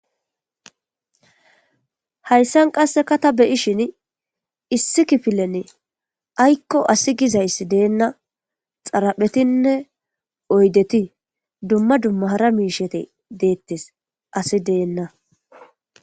Haysssn qasse taan be'shshim issi kiffilen ayko assi gizzsyssi denna harpeetine oydeti duma duma hara mishshati deetes assi deena